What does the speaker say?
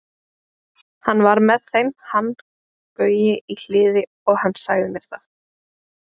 Hann var með þeim hann Gaui í Hliði og hann sagði mér það.